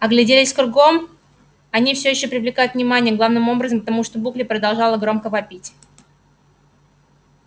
огляделись кругом они все ещё привлекают внимание главным образом потому что букля продолжает громко вопить